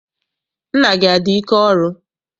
Nna gị adị ike ọrụ?